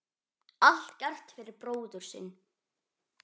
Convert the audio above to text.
Allt gert fyrir bróðir sinn.